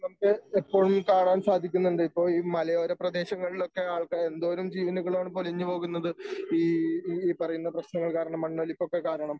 ഇതൊക്കെ എപ്പോഴും കാണാൻ സാധിക്കുന്നുണ്ട് ഇപ്പോ ഈ മലയോരപ്രദേശങ്ങളിലൊക്കെ ആൾക്കാര് എന്തോരം ജീവനുകളാണ് പൊലിഞ്ഞു പോകുന്നത്. ഈ ഈ പറയുന്ന പ്രശ്നങ്ങൾ കാരണം മണ്ണൊലിപ്പൊക്കെ കാരണം